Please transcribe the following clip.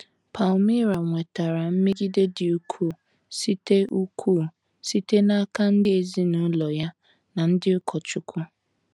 Palmira nwetara mmegide dị ukwuu site ukwuu site n’aka ndị ezinụlọ ya na ndị ụkọchukwu.